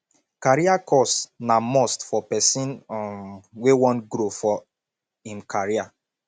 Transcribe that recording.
career course na must for pesin um wey wan grow for im career